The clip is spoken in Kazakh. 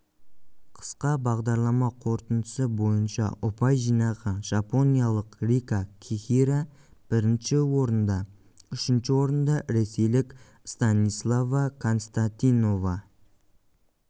қысқа бағдарлама қорытындысы бойынша ұпай жинаған жапониялық рика кихира бірінші орында үшінші орында ресейлік станислава константинова